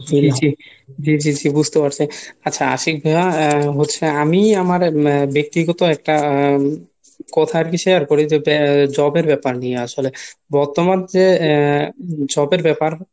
জি জি জি জি জি বুজতে পারসি। আচ্ছা আশিক ভাইয়া হচ্ছে আমি আমার ব্যক্তিগত একটা কথা আরকি শেয়ার করি যে Job এর ব্যাপার নিয়া আসলে। বর্তমান যে Job এর ব্যাপার